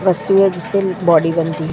रस्सी है। जिससे बॉडी बनती है।